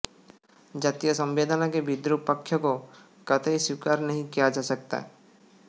जातीय संवेदना के विद्रूप पक्ष को कतई स्वीकार नहीं किया जा सकता